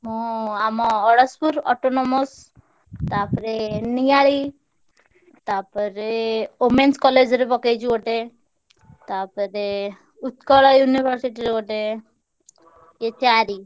ମୁଁ ଆମ ଅଡଶପୁର autonomous ତାପରେ ନିଆଳି, ତା ପରେ womens college ରେ ପକେଇଛି ଗୋଟେ, ତା ପରେ ଉତ୍କଳ university ରେ ଗୋଟେ, ଏ ଚାରି।